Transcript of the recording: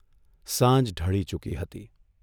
સાંજ ઢળી ચૂકી હતી.